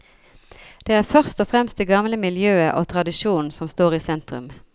Det er først og fremst det gamle miljøet og tradisjonen som står i sentrum.